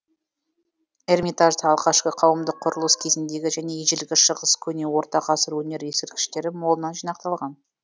эрмитажда алғашқы қауымдық құрылыс кезіндегі және ежелгі шығыс көне орта ғасыр өнері ескерткіштері молынан жинақталған